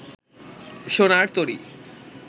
সোনার তরী